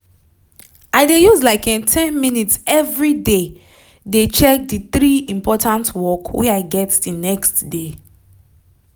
i dey use like um ten minutes everyday dey check d three important work wey i get d next day